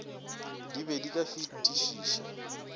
di be di ka fatišiša